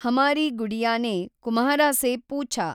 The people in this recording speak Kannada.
ಹಮಾರೀ ಗುಡಿಯಾ ನೇ ಕುಮ್ಹಾರಾ ಸೇ ಪೂಛಾ,